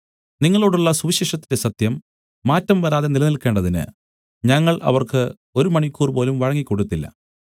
നിങ്ങളോടുള്ള സുവിശേഷത്തിന്റെ സത്യം മാറ്റംവരാതെ നിലനിൽക്കേണ്ടതിന് ഞങ്ങൾ അവർക്ക് ഒരു മണിക്കൂറുപോലും വഴങ്ങിക്കൊടുത്തില്ല